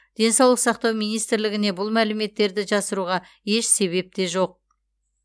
денсаулық сақтау министрлігіне бұл мәліметтерді жасыруға еш себеп те жоқ